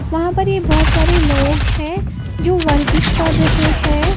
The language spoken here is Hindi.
वहां पर ये बोहोत सारे लोग हैं जो वर्जिश कर रहे हैं।